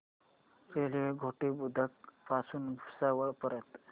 railway Ghoti Budruk पासून भुसावळ पर्यंत